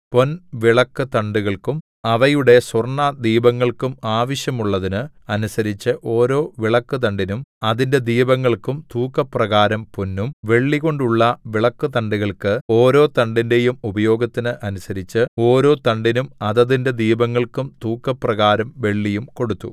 പൊൻവിളക്കുതണ്ടുകൾക്കും അവയുടെ സ്വർണ്ണദീപങ്ങൾക്കും ആവശ്യമുള്ളതിന് അനുസരിച്ച് ഓരോ വിളക്കുതണ്ടിനും അതിന്റെ ദീപങ്ങൾക്കും തൂക്കപ്രകാരം പൊന്നും വെള്ളികൊണ്ടുള്ള വിളക്കുതണ്ടുകൾക്ക് ഓരോ തണ്ടിന്റെയും ഉപയോഗത്തിന് അനുസരിച്ച് ഓരോ തണ്ടിനും അതതിന്റെ ദീപങ്ങൾക്കും തൂക്കപ്രകാരം വെള്ളിയും കൊടുത്തു